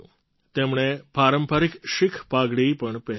તેમણે પારંપરિક શીખ પાઘડી પણ પહેરી હતી